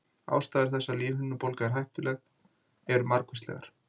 ástæður þess að lífhimnubólga er hættuleg eru margvíslegar